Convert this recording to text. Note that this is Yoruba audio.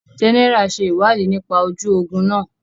General ṣe ìwádìí nípa ojú ogún náà